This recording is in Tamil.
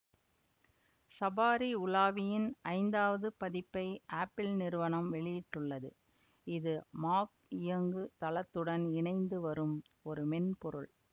சபாரி உலாவியின் ஐந்தாவது பதிப்பை ஆப்பிள் நிறுவனம் வெளியிட்டுள்ளது இது மாக் இயங்கு தளத்துடன் இணைந்து வரும் ஒரு மென்பொருள்